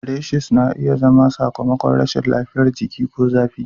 Rashes na iya zama sakamakon rashin lafiyar jiki ko zafi.